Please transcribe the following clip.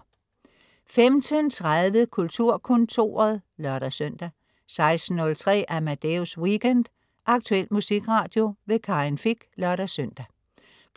15.30 Kulturkontoret (lør-søn) 16.03 Amadeus Weekend. Aktuel musikradio. Karin Fich (lør-søn)